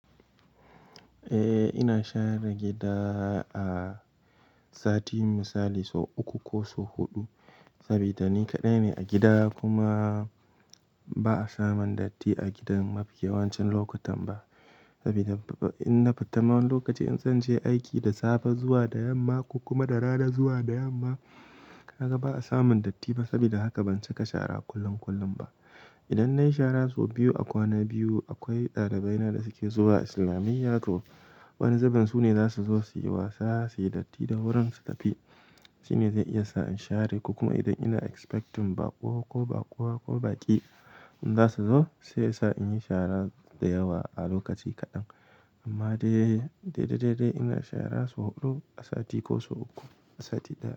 Eh, ina share gida a sati misali sau uku ko sau huɗu. Saboda ni kaɗai ne a gida kuma ba'a samun datti a gidan mafi yawancin lokutan ba. Saboda in na fita ma wani lokaci, in zan je aiki da safe zuwa da yamma ko kuma da rana zuwa da yamma, ka ga ba'a samun datti ba. Saboda haka ban cika shara kullum kullum ba. Idan na yi shara sau biyu a kwana biyu, akwai ɗalibai na da suke zuwa islamiyya to wani zubin su ne za su zo su yi wasa, su yi datti da wurin su tafi. Shi ne zai iya sa in share ko kuma idan ina expecting baƙo ko baƙuwa ko baƙi in za su zo, sai sa in yi shara da yawa a lokaci kaɗan. Amma dai, dai, dai, dai ina shara sau huɗu a sati ko sau uku a sati ɗaya.